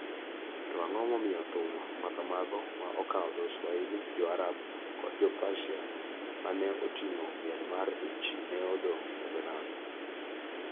To ang�o momiyo thum ma kamago, ma okawo dho Swahili, Jo-Arab kod Jo-Persia ma ne oting�o miel mar ich, ne odong� e dho nam?